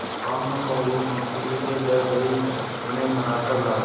भानुकुँवरि मुंशी जी के घर गयी उन्हें मना कर लायीं